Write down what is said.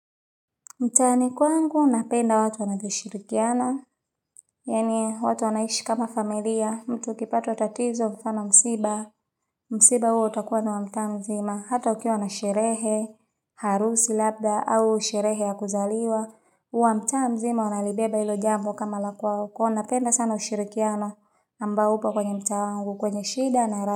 Mtani kwangu napenda watu wanavyoshirikiana, yani watu wanaishi kama familia, mtu akipata tatatizo mfano msiba, msiba huo utakuwa ni wa mta mzima, hata ukiwa na sherehe, harusi labda au sherehe ya kuzaliwa, uwa mta mzima wanalibeba ilo jambu kama la kwao, wanapenda sana ushirikiano ambao upo kwenye mtaa wangu, kwenye shida na raha.